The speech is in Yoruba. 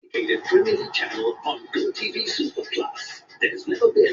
Bẹ́ẹ̀ni, yóò fọ ìkòkò náà.